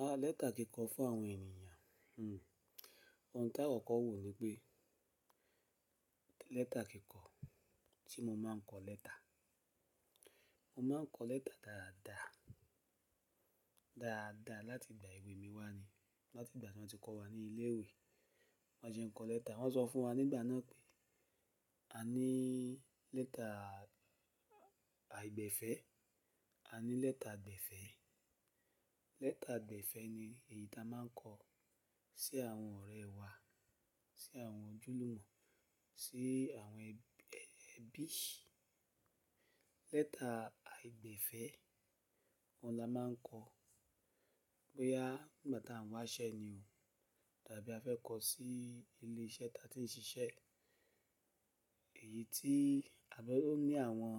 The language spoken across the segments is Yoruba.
Àá lẹ́tà kíkọ fún àwọn ènìyàn, òun tá ọ̀kọ̀ọ̀ wò ni pé lẹ́tà kíkọ, tí mo máa ń kọ lẹ́tà, mo máa ń kọ lẹ́tà dáadáa, dáadáa láti ìgbà èwe mi wá ni, láti ìgbà tí wọ́n ti kọ́ wa ní ilé ìwé, bon sẹ nkọ lẹ́tà, wọ́n sọ fún wa nígbà náà pé a ní lẹ́tà àìgbẹ̀fẹ́, a ní lẹ́tà gbẹ̀fẹ́. Lẹ́tà gbẹ̀fẹ́ ni èyí ta máa ń kọ sí àwọn ọ̀rẹ́ wa, sí àwọn ojúlùmọ̀, sí àwọn ẹbí. Lẹ́tà àìgbẹ̀fẹ́, òun la máa ń kọ bóyá ìgbà tí à ń wáṣẹ́ ni o, tàbí a fẹ́ kọ sí ilé iṣẹ́ ta ti ń ṣiṣẹ́, èyí tí ó ní àwọn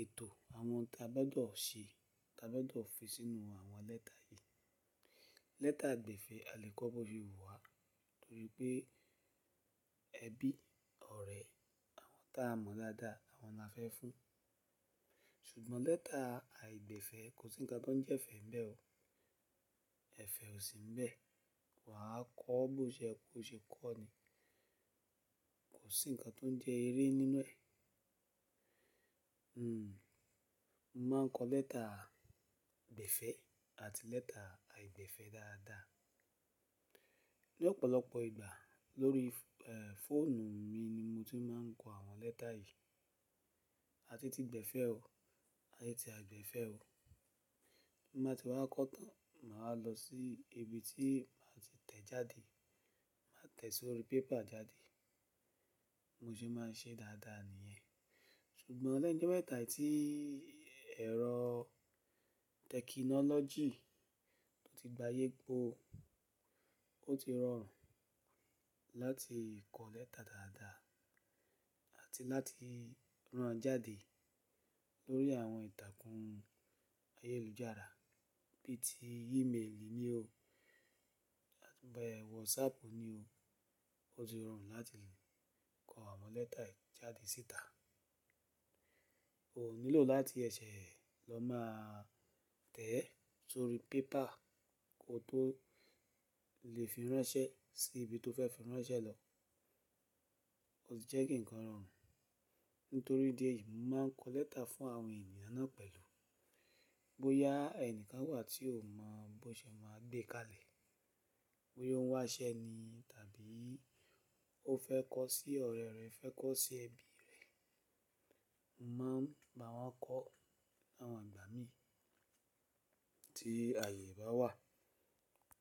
ètò, àwọn tí a fẹ́ dọ̀ ṣe, tí a fẹ́ dọ̀ fi sínú àwọn lẹ́tà yìí. Lẹ́tà gbẹ̀fẹ́ a lè kọ ọ́ bó fi wù wá torí pé ẹbí, ọ̀rẹ́, àwọn tá a mọ̀ dáadáa àwọn la fẹ́ fún. Ṣùgbọ́n lẹ́tà àìgbẹ̀fẹ́ kò sí ǹkan tó ń jẹ́ ẹ̀fẹ̀ ńbẹ́ o, ẹ̀fẹ̀ ò sí ńbẹ́, wà á kọ ọ́ bó ṣe ẹ kó ṣe kọ́ ni, kò sí ǹkan tó ń jẹ́ eré nínú ẹ̀. Mo máa ń kọ lẹ́tà gbẹ̀fẹ́ àti lẹ́tà àìgbẹ̀fẹ́ dáadáa. Ní ọ̀pọ̀lọpọ̀ ìgbà lórí, eeh, fóònù mi ni mo ti máa ń kọ àwọn lẹ́tà yìí, àti ti gbẹ̀fẹ́ o àti ti àìgbẹ̀fẹ́ o. Bí n bá ti wá kọ́ tán, mà á lọ sí ibi tí mà á ti tẹ̀ jáde, màá tẹ̀ sórí paper jáde, mo sì máa ń ṣe dáadáa nìyẹn. Ṣùgbọ́n lẹ́yìn jí mẹ́ta yìí ẹ̀rọ tẹ̀kìnọ́lọ́jì tó ti gbayé gbó, ó ti rọrùn láti kọ lẹ́tà dáadáa àti láti rán an jáde lórí àwọn ìtàkùn ayélujára bí i ti ímeèlì ni o, bẹ́ẹ̀ WhatsApp ni o, ó ti rọrùn láti kọ àwọn lẹ́tà yìí jáde síta. O ò nílò láti ẹṣẹ lọ máa tẹ̀ ẹ́ sórí pépà kí o tó lè fi ránṣẹ́ sí ibi tó fẹ́ fi ránṣẹ́ lọ. Ó ti jẹ́ kí ǹkan rọrùn nítorí díẹ̀ yìí mo máa ń kọ lẹ́tà fún àwọn ènìyàn náà pẹ̀lú. Bóyá ẹnìkan wà tí ò mọ bó ṣe ẹ máa gbé kalẹ̀, bóyá ó ń wáṣẹ́ ni tàbí ó fẹ́ kọ sí ọ̀rẹ́ rẹ̀, fẹ́ kọ sí ẹbí rẹ̀, mo máa ń bá wọn kọ ni àwọn ìgbà mí tí ààyè bá wà.